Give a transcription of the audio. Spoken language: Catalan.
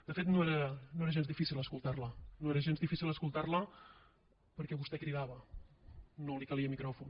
de fet no era gens difícil escoltar la no era gens difícil escoltar la perquè vostè cridava no li calia micròfon